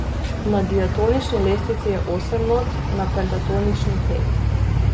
Na diatonični lestvici je osem not, na pentatonični pet.